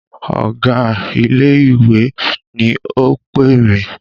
Ọ̀gá ilé ìwé ni o pè mí.